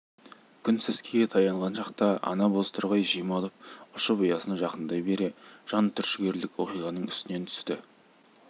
күн сәскеге таянған шақта ана бозторғай жем алып ұшып ұясына жақындай бере жан түршігерлік оқиғаның үстінен түсті